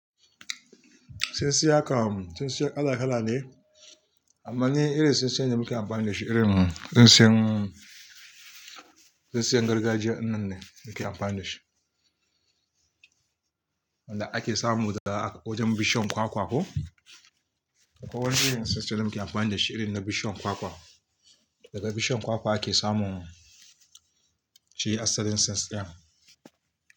Tsintsiyar kam tsintsiyar kala kala ne, amma ni irin tsintsiyar da muke amfani da shi, irin tsintsiyar, tsintsiyar gargajiya ɗinnan ne muke amfani da shi. Wanda ake samu daga wajen bishiyar kwakwa ko. Akwai wani irin tsintsiyar muke amfani da shi, irin na bishiyar kwakwa. Daga bishiyar kwakwa ake samun shi asalin tsintsiyar.